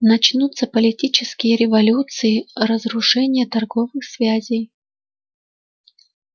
начнутся политические революции разрушение торговых связей